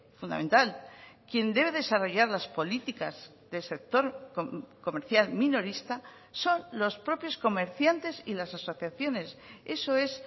fundamental quien debe desarrollar las políticas del sector comercial minorista son los propios comerciantes y las asociaciones eso es